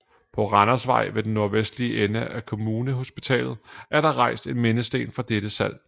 På Randersvej ved den nordvestlige ende af Kommunehospitalet er der rejst en mindesten for dette slag